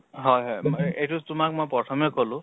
হয় হয় এইটো তোমাক মই প্ৰথমে কলো